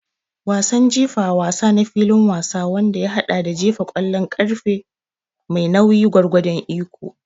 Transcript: Wasan jifa wasa na filin wasa wanda ya haɗa da jefa ƙwallon ƙarfe mai nauyi gwargwadon iko.